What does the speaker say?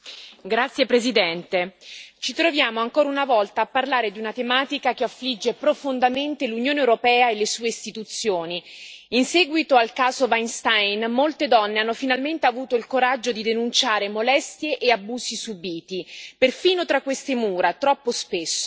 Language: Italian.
Signora Presidente, onorevoli colleghi, ci troviamo ancora una volta a parlare di una tematica che affligge profondamente l'Unione europea e le sue istituzioni. In seguito al caso Weinstein molte donne hanno finalmente avuto il coraggio di denunciare molestie e abusi subiti, perfino tra queste mura, troppo spesso.